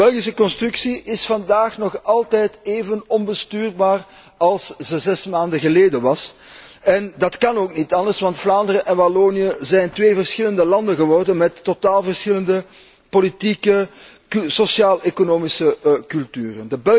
De Belgische constructie is vandaag nog altijd even onbestuurbaar als zij zes maanden geleden was en dat kan ook niet anders, want Vlaanderen en Wallonië zijn twee verschillende landen geworden met totaal verschillende politieke en sociaaleconomische culturen.